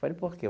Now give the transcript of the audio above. Falei, por quê?